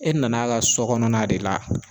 E nan'a ka sɔ kɔnɔna de la